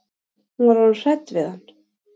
Hún var orðin hrædd við hann.